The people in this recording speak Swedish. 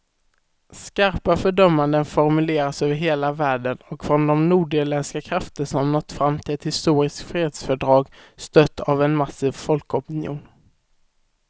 Skarpa fördömanden formuleras över hela världen och från de nordirländska krafter som nått fram till ett historiskt fredsfördrag, stött av en massiv folkopinion.